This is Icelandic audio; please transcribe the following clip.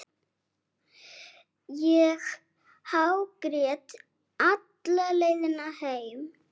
Ég hágrét alla leiðina heim.